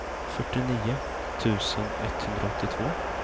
fyrtionio tusen etthundraåttiotvå